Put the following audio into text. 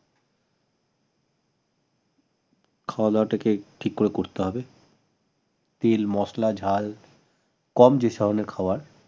খাওয়া দাওয়াটাকে ঠিকমত করতে হবে তেল মসলা ঝাল কম যে ধরণের খাবার